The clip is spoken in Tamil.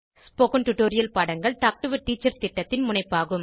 ஸ்போகன் டுடோரியல் பாடங்கள் டாக் டு எ டீச்சர் திட்டத்தின் முனைப்பாகும்